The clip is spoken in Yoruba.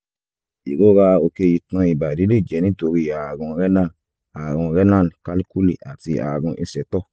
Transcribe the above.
ìrora òkè itan ìbàdí lè jẹ́ nítorí ààrùn renal ààrùn renal calculi àti ààrùn ìsétọ̀